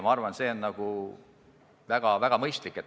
Ma arvan, et see on väga mõistlik.